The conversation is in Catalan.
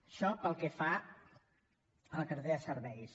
això pel que fa a la cartera de serveis